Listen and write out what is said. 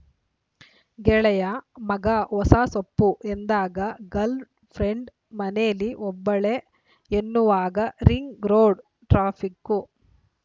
ಗೆಳೆಯ ಮಗಾ ಹೊಸ ಸೊಪ್ಪು ಎಂದಾಗ ಗಲ್‌ ಫ್ರೆಂಡು ಮನೇಲಿ ಒಬ್ಬಳೇ ಎನ್ನುವಾಗ ರಿಂಗ ರೋಡು ಟ್ರಾಫಿಕ್ಕು